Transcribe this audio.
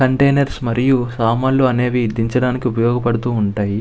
Containers మరియు సామాన్లు అనేవి దించడానికి ఉపయోగపడుతూఉంటాయి.